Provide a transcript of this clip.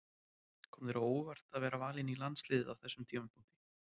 Kom þér á óvart að vera valinn í landsliðið á þessum tímapunkti?